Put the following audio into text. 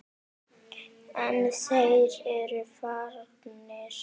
En þeir eru farnir.